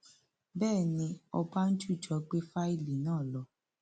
bẹẹ ni ọbánjújọ gbé fáìlì náà lọ